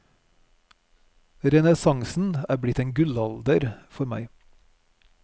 Renessansen er blitt en gullalder for meg.